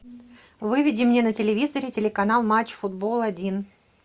выведи мне на телевизоре телеканал матч футбол один